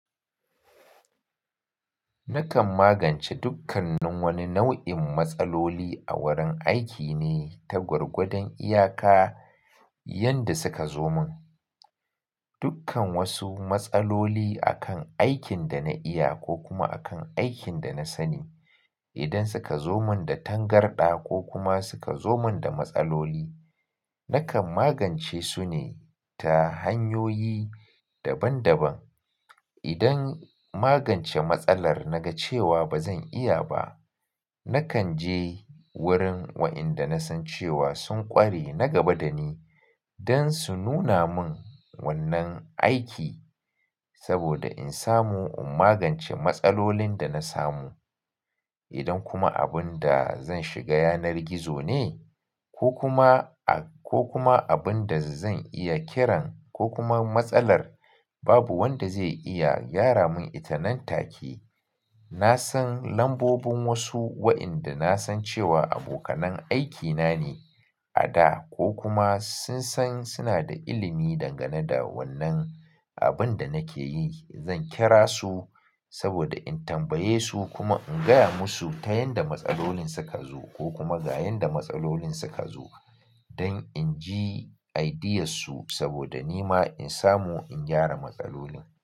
Nakan magance dukkan nin wani nau'in matsaloli a wurin aiki ne ta gwargwadon iyaka yanda suka zo mun. Dukkan wasu matsaloli akan aikin da na iya ko kuma akan aikin da na sani. Idan suka zo mun da tangarɗa ko kuma suka zo mun da matsaloli, nakan magance su ne ta hanyoyi daban-daban. Idan magance matsalar na ga cewa ba zan iya ba, nakan je wurin wa'inda na san cewa sun ƙware na gaba da ni don su nuna mun wannan aiki saboda in samu in magance matsalolin da na samu. Idan kuma abun da zan shiga yanar gizo ne ko kuma, ko kuma abun da zan iya kiran ko kuma matsalar babu wanda zai iya gyara mun ita nan take, na san lambobin wasu wa'inda na san cewa abokanan aikina ne a da ko kuma sun san suna da ilimi dangane da wannan abun da nake yi. Zan kira su saboda in tambaye su kuma in gaya musu ta yanda matsalolin suka zo ko kuma ga yanda matsalolin suka zo don in ji ideas su saboda ni ma in samu in gyara matsalolin.